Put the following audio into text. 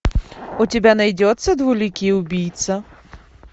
у тебя найдется двуликий убийца